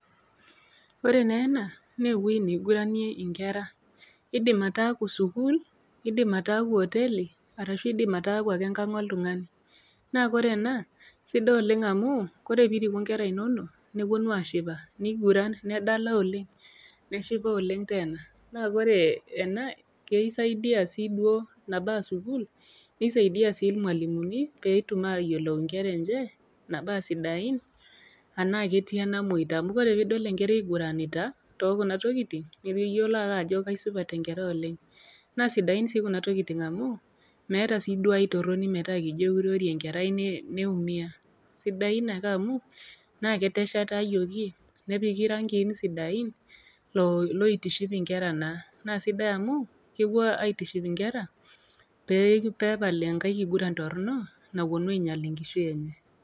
Ore naa ena naa ewueji naiguranie inkera, eidim ataaku sukuul, eidim ataaku hoteli arashu eidim ake ataaku enkang' oltung'ani. Naa kire ena naa sidai oleng' amuu kore pee iriku inkera inono nepuonu aashipa, neiguran nedala oleng' neshipa oleng' teena. Naa kore ena keisaidia sii duo, nabaa sukul keisaidia sii ilmwalimuni, pee etum ayiolou inkere enje, nabaa sidain anaa nabo etii enamwoita. Amu ore pee idol enkerai eiguranita too kuna tokitin, niyiolou ake ajo kaisupat enkerai oleng'. Naa sidain sii kuna tokitin oleng' amuu meeta sii duo ai toroni metaa kijo eurori enkerai neumia, sidain ake amu naa keteshetayioki nepiki irangiin sidain oitiship inkera naa, naa sidai amu kepuo aitiship inkera pee epal enkai kiguran torono naa keinyal enkishui enye.